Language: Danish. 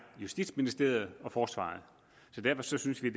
justitsministeriet og forsvaret derfor synes vi